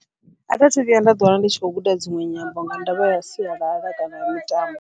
Athi athu vhuya nda ḓi wana ndi tshi khou guda dziṅwe nyambo, nga ndavha ya sialala kana ya mitambo.